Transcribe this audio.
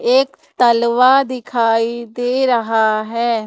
एक तलवा दिखाई दे रहा है।